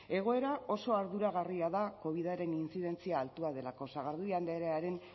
egoera oso arduragarria da covidaren intzidentzia altua delako sagardui andrearen